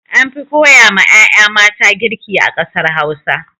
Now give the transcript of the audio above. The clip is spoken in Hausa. Anfi koya ma 'ya'ya mata girki a ƙasar Hausa.